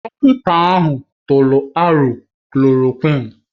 Dọkịta ahụ tụrụ aro klòròkwịn